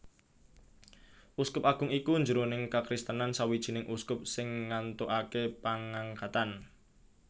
Uskup Agung iku jroning kakristenan sawijining uskup sing ngantukaké pangangkatan